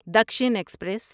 Dakshin express